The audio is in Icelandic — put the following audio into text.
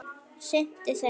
sinnti þeim.